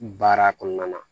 Baara kɔnɔna na